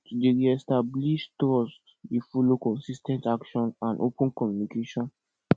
to dey reestablish trust dey follow consis ten t action and open communication